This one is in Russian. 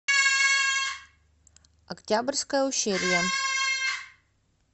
октябрьское ущелье